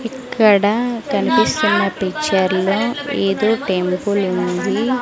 ఇక్కడ కనిపిస్తున్న పిక్చర్ లో ఏదో టెంపుల్ ఉంది.